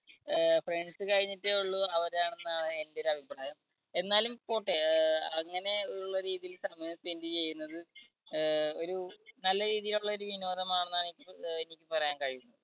അഹ് friends കഴിഞ്ഞിട്ടേ ഉള്ളൂ അവരാണെന്ന് ആണ് എൻടെ ഒരു അഭിപ്രായം എന്നാലും പോട്ട അഹ് അങ്ങനെ ഉള്ള രീതിയിൽ സമയം spend ചെയ്യുന്നത് അഹ് ഒരു നല്ല രീതിയിലുള്ള ഒരു വിനോദം ആണെന്നാണ് നിക് എനിക്ക് പറയാൻ കഴിയും.